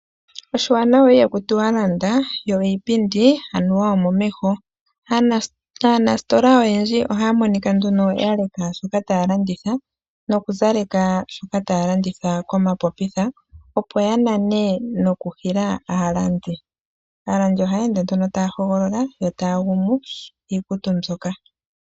Oshiwanawa ihaku tiwa anuwa landa, yo iipindi omomeho . Aanasitola oyendji ohaya monika nduno yaleka shoka taya landitha nokuzaleka shoka taya landitha komapopitha opo yanane noku hila aalandi . Aalandi ohaya ende nduno taya hogolola yo taya gumu iikutu mbyoka.